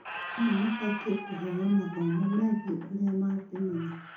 Arimũ mabatie kũheo mathomo megie ũrĩa mangĩmenya